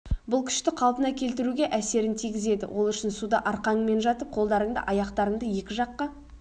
бұл күшті қалпына келтіруге әсерін тигізеді ол үшін суда арқаңмен жатып қолдарыңды аяқтарыңды екі жаққа